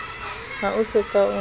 ha o so ka o